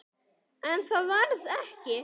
En það varð ekki.